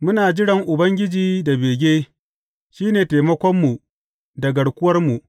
Muna jiran Ubangiji da bege; shi ne taimakonmu da garkuwarmu.